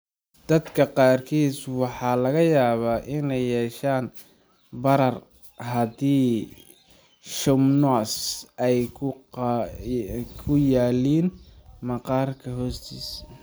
Dadka qaarkiis waxaa laga yaabaa inay yeeshaan barar haddii schwannomas ay ku yaalliin maqaarka hoostiisa.